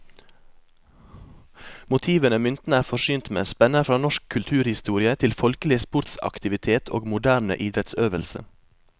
Motivene myntene er forsynt med, spenner fra norsk kulturhistorie til folkelig sportsaktivitet og moderne idrettsøvelse.